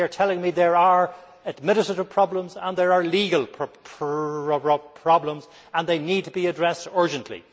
They are telling me there are administrative problems and there are legal problems and that they need to be addressed urgently.